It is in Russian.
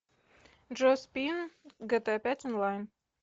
джо спин гта пять онлайн